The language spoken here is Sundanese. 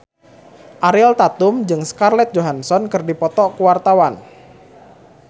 Ariel Tatum jeung Scarlett Johansson keur dipoto ku wartawan